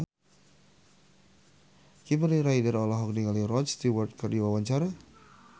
Kimberly Ryder olohok ningali Rod Stewart keur diwawancara